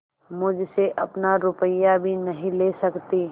मुझसे अपना रुपया भी नहीं ले सकती